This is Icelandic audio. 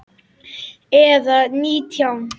Eða nítján?